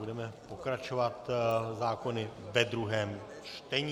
Budeme pokračovat zákony ve druhém čtení.